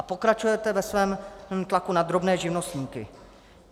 A pokračujete ve svém tlaku na drobné živnostníky.